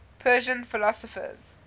persian philosophers